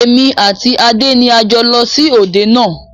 Èmi àti Adé ni a jọ lọ sí òde náà